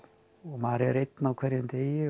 maður er einn á hverjum degi